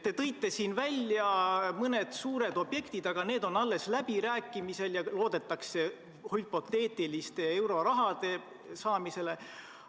Te tõite siin välja mõned suured objektid, aga käivad alles läbirääkimised ja loodetakse hüpoteetiliste eurorahade saamisele.